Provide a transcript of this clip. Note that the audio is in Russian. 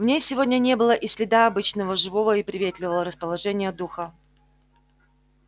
в ней сегодня не было и следа обычного живого и приветливого расположения духа